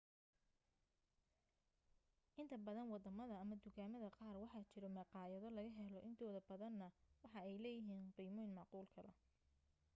inta badan wadamada ama dukaamada qaar waxaa jiro maqaayado laga helo intooda badana waxa ay leeyihiin qiimoyin macquul gala